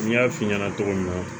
N y'a f'i ɲɛna cogo min na